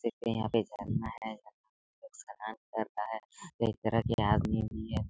देखिए यहां पर झरना है कई तरह के आदमी है।